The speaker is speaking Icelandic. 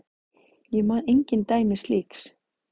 Ég man engin dæmi slíks.